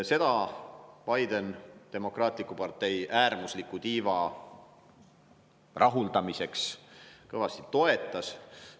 Seda Biden demokraatliku partei äärmusliku tiiva rahuldamiseks kõvasti toetas.